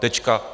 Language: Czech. Tečka.